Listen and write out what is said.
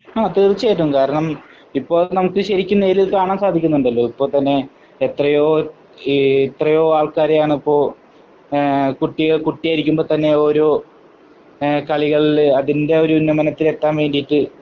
ആഹ് തീർച്ചയായിട്ടും. കാരണം ഇപ്പോ നമുക്ക് ശരിക്കും നേരിൽ കാണാൻ സാധിക്കുന്നുണ്ടല്ലോ. ഇപ്പോ തന്നെ എത്രയോ എഹ് എത്രയോ ആൾകാരെയാണിപ്പോ കുട്ടികൾ കുട്ടി ആയിരിക്കുമ്പോ തന്നെ ഓരോ കളികളിൽ അതിന്റെ ഒരു ഉന്നമനത്തിന് എത്താൻ വേണ്ടിയിട്ട്